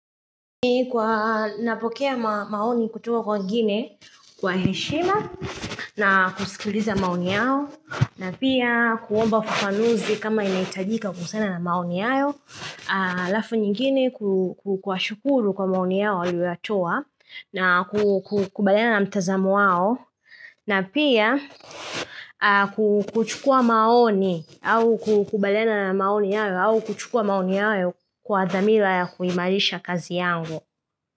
Kwa napokea maoni kutoka kwa wengine kwa heshima na kusikiliza maoni yao na pia kuomba fufanuzi kama inaitajika kusiana na maoni yao Alafu nyingine kuwa shukuru kwa maoni yao waliyoyatoa na kukubaliana na mtazamo wao na pia kuchukua maoni au kukubaliana na maoni yao au kuchukua maoni yao kwa dhamila ya kuimarisha kazi yangu.